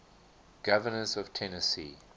governors of tennessee